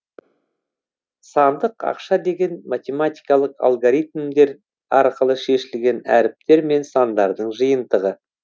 сандық ақша деген математикалық алгоритмдер арқылы шешілген әріптер мен сандардың жиынтығы